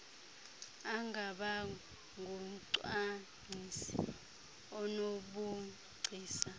angaba ngumcwangcisi onobugcisa